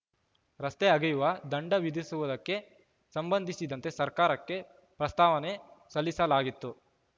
ರಸ್ತೆ ಅಗೆಯುವ ದಂಡ ವಿಧಿಸುವುದಕ್ಕೆ ಸಂಬಂಧಿಸಿದಂತೆ ಸರ್ಕಾರಕ್ಕೆ ಪ್ರಸ್ತಾವನೆ ಸಲ್ಲಿಸಲಾಗಿತ್ತು